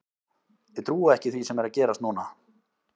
Ég trúi ekki því sem er að gerast núna.